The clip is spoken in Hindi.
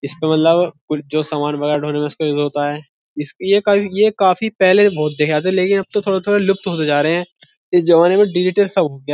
इसपे मतलब जो सामान वगैरह ढोने में उसका यूज होता है इस ये का ये काफी पहले बहुत देखे जाते हैं लेकिन अब तो थोड़े-थोड़े लुप्त होते जा रहे हैं ये जमाने में डिजिटल सा होगी।